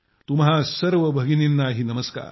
तुम्हा सर्व भगिनींनाही नमस्कार